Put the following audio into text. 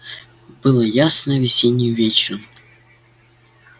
был ясный весенний вечер